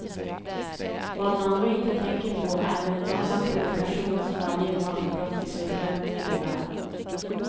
Vad man då inte tänker på är den enorma provokation som varje normbrott i sig självt innebär.